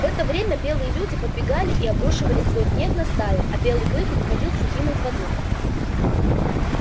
в это время белые люди подбегали и обрушивали свой гнев на стаю а белый клык выходил сухим из воды